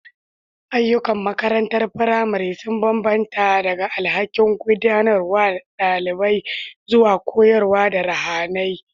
Ayyukan makarantar firamare sun bambanta daga alhakin gudanarwa da ɗabi'a zuwa koyarwa ta ruhaniya.